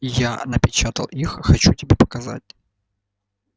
я напечатал их хочу тебе показать